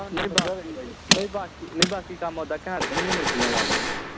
ਨਹੀਂ ਬਾਕੀ ਨਹੀਂ ਬਾਕੀ ਨਹੀਂ ਬਾਕੀ ਕੰਮ ਉਦਾ ghaint ਕਿ ਨੀ ਮੁਰਗੀਆਂ ਵਾਲਾ ਉਦਾ